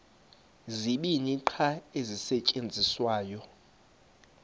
zibini qha ezisasetyenziswayo